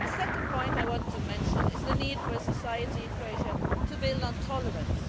The second point I want to mention is the need for society in Croatia to build on tolerance.